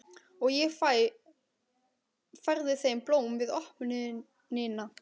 Og ég færði þeim blóm við opnunina.